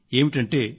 ఏంటంటే